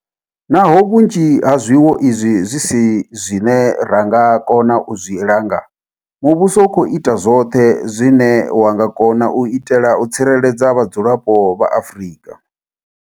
Naho vhunzhi ha zwiwo izwi zwi si zwine ra nga kona u zwi langa, muvhuso u khou ita zwoṱhe zwine wa nga kona u itela u tsireledza vhadzulapo vha Afrika.